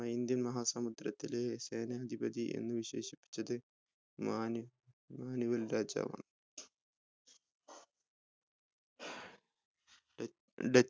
Indian മഹാ സമുദ്രത്തിലെ സേനാധിപതി എന്ന് വിശേഷിപ്പിച്ചത് മാണി മാനുവൽ രാജാവാണ്